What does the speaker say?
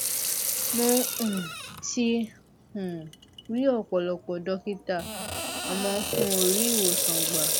mo um ti um ri ọpọlọpọ dọkítà àmọ n ò rí ìwòsàn gbà